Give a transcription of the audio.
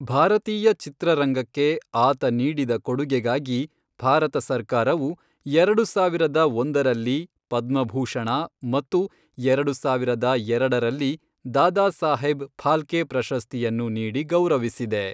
ಭಾರತೀಯ ಚಿತ್ರರಂಗಕ್ಕೆ ಆತ ನೀಡಿದ ಕೊಡುಗೆಗಾಗಿ ಭಾರತ ಸರ್ಕಾರವು ಎರಡು ಸಾವಿರದ ಒಂದರಲ್ಲಿ ಪದ್ಮಭೂಷಣ ಮತ್ತು ಎರಡು ಸಾವಿರದ ಎರಡರಲ್ಲಿ ದಾದಾಸಾಹೇಬ್ ಫಾಲ್ಕೆ ಪ್ರಶಸ್ತಿಯನ್ನು ನೀಡಿ ಗೌರವಿಸಿದೆ.